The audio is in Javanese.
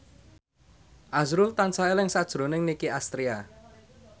azrul tansah eling sakjroning Nicky Astria